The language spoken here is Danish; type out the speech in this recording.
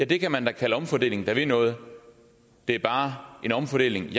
det kan man da kalde omfordeling der vil noget det er bare en omfordeling